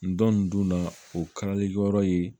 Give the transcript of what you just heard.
N dɔn nin dun na o kalalikɛyɔrɔ ye